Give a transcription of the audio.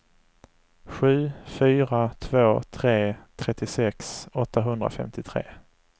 sju fyra två tre trettiosex åttahundrafemtiotre